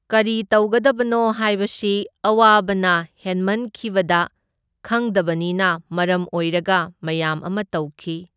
ꯀꯔꯤꯇꯧꯒꯗꯕꯅꯣ ꯍꯥꯏꯕꯁꯤ ꯑꯋꯥꯕꯅ ꯍꯦꯟꯃꯟꯈꯤꯕꯗ ꯈꯪꯗꯕꯅꯤꯅ ꯃꯔꯝ ꯑꯣꯏꯔꯒ ꯃꯌꯥꯝ ꯑꯃ ꯇꯧꯈꯤ꯫